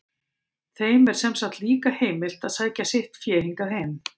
Þeim er sem sagt líka heimilt að sækja sitt fé hingað heim.